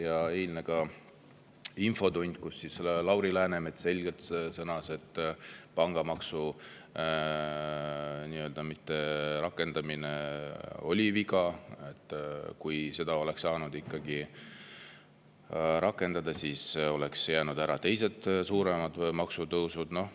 Ja eilses infotunnis sõnas Lauri Läänemets selgelt, et pangamaksu mitterakendamine oli viga; et kui seda oleks saanud rakendada, siis oleks jäänud ära teised suuremad maksutõusud.